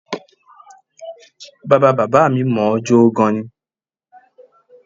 Bàbá bàbá mi mọ̀ ọ́n jó gan-an ni